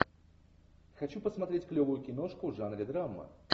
хочу посмотреть клевую киношку в жанре драма